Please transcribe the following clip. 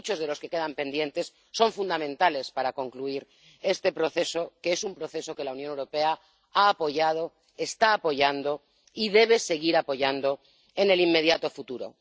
Y muchos de los que quedan pendientes son fundamentales para concluir este proceso, que es un proceso que la Unión Europea ha apoyado, está apoyando y debe seguir apoyando en el inmediato futuro.